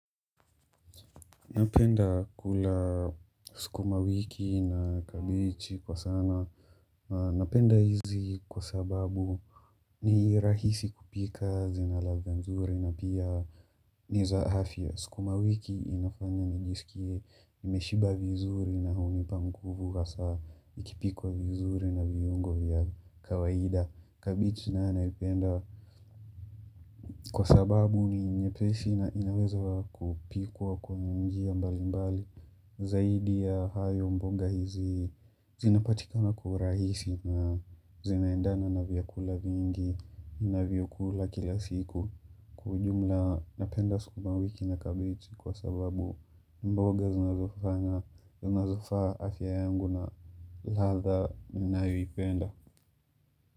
Napenda kula sukumawiki na kabichi kwa sana. Napenda hizi kwa sababu ni rahisi kupika zina ladha nzuri na pia niza hafya sukumawiki inafanya nijisikie nimeshiba vizuri na hunipa nguvu hasa ikipikwa vizuri na vyungo vya kawaida. Kabichi nayo naipenda kwa sababu ni nyepesi na inaweza kupikwa kwa njia mbalimbali. Zaidi ya hayo mboga hizi zinapatikana kwa uraisi na zinaendana na vyakula vingi ninavyokula kila siku Kwa ujumla napenda sukumawiki na kabeji kwa sababu mboga zinazofaa afya yangu na ladha ninayoipenda.